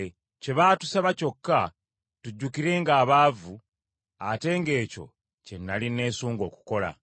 Kye baatusaba kyokka tujjukirenga abaavu, ate ng’ekyo kye nnali nesunga okukola.